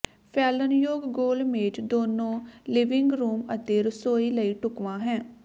ਫੈਲਣਯੋਗ ਗੋਲ ਮੇਜ਼ ਦੋਨੋ ਲਿਵਿੰਗ ਰੂਮ ਅਤੇ ਰਸੋਈ ਲਈ ਢੁਕਵਾਂ ਹੈ